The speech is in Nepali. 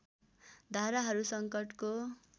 धाराहरू सङ्कटको